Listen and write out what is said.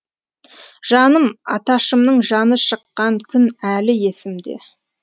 жаным аташымның жаны шыққан күн әлі есімде